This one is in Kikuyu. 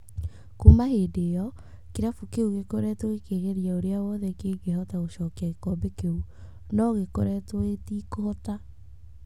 Kuuma hĩndĩ ĩyo, kĩrabu kĩu gĩkoretwo gĩkĩgeria ũrĩa wothe kĩngĩhota gũcokia gĩkombe kĩu , no gĩkoretwo gĩtekũhota.